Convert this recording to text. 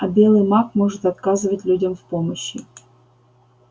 а белый маг может отказывать людям в помощи